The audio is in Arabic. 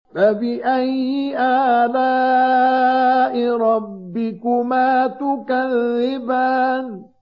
فَبِأَيِّ آلَاءِ رَبِّكُمَا تُكَذِّبَانِ